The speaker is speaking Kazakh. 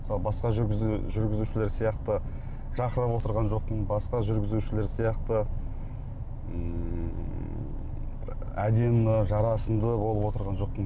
мысалы басқа жүргізушілер сияқты жарқырап отырған жоқпын басқа жүргізушілер сияқты ммм әдемі жарасымды болып отырған жоқпын